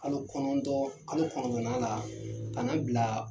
kalo kɔnɔntɔn , kalo kɔnɔntɔnna la ka na bila